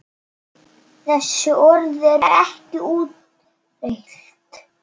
Þessi orð eru ekki úrelt.